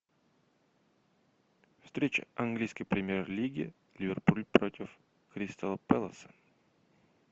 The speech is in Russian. встреча английской премьер лиги ливерпуль против кристал пэлас